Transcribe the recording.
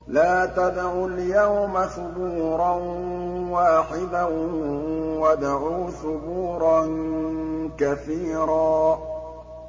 لَّا تَدْعُوا الْيَوْمَ ثُبُورًا وَاحِدًا وَادْعُوا ثُبُورًا كَثِيرًا